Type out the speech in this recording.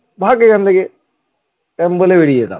ভাগ এখান থেকে এমন বলে বেরিয়ে যেতাম ।